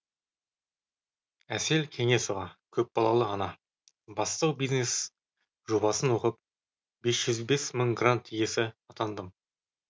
әсел кеңесова көпбалалы ана бастау бизнес жобасын оқып бес жүз бес мың грант иесі атандым